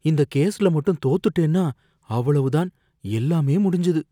இந்த கேஸ்ல மட்டும் தோத்துட்டேன்னா, அவ்வளவுதான், எல்லாமே முடிஞ்சுது.